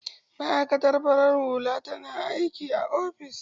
Ma'aikatan farar hula na aikin a ofis